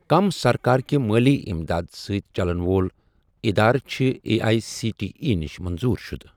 کٔم سرکار کہِ مٲلی اِمداد سٟتؠ چَلن وول اِدارٕ چھِ A I C T E نِش منظور شُدٕ؟